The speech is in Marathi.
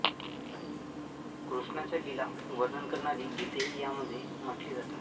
कृष्णाच्या लीला वर्णन करणारी गीतेही यामध्ये म्हटली जातात